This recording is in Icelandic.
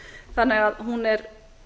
þannig að hún er